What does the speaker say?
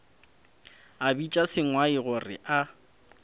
a bitša sengwai gore a